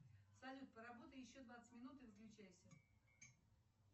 салют поработай еще двадцать минут и выключайся